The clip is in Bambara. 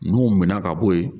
N'o minɛ ka bɔ yen